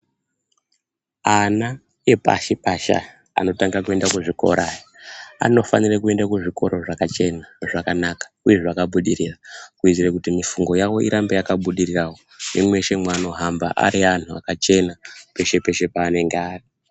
Ana epashi pashi aya anotange kuenda kuzvikora anofanire kuende kuzvikoro zvakachena zvakanaka uye zvakabudirira kuitire kuti mifungo yavo irambe yakabudirirawo nemweshe mwaanohamba ari anhu akachena peshe peshe panenge ari.